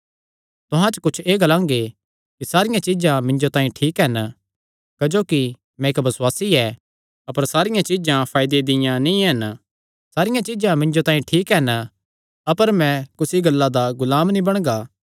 तुहां च कुच्छ एह़ ग्लांगे कि सारियां चीज्जां मिन्जो तांई ठीक हन क्जोकि मैं इक्क बसुआसी ऐ अपर सारियां चीज्जां फायदे दियां नीं हन सारियां चीज्जां मिन्जो तांई ठीक हन अपर मैं कुसी गल्ला दा गुलाम नीं बणगा